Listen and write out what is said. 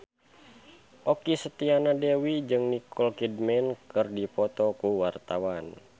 Okky Setiana Dewi jeung Nicole Kidman keur dipoto ku wartawan